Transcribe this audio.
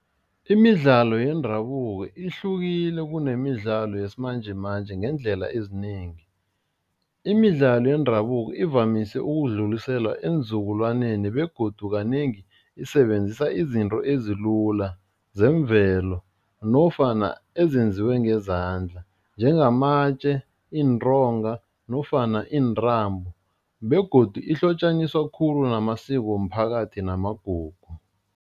Imidlalo yendabuko ihlukile kunemidlalo yesimanjemanje ngeendlela ezinengi, imidlalo yendabuko ivamise ukudluliselwa eenzukulwaneni begodu kanengi isebenzisa izinto ezilula zemvelo nofana ezenziwe ngezandla njengamatje, iintonga nofana iintambo begodu ihlotjaniswa khulu namasiko womphakathi namagugu.